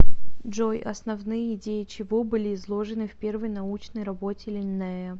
джой основные идеи чего были изложены в первой научной работе линнея